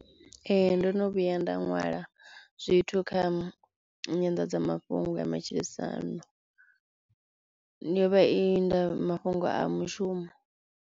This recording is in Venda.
Ee ndo no vhuya nda nwala zwithu kha nyanḓadzamafhungo ya matshilisano, yo vha i nda mafhungo a mushumo.